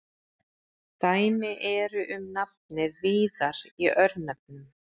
Dæmi eru um nafnið víðar í örnefnum.